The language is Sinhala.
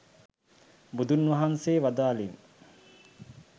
බුදුන් වහන්සේ වදාළෙන්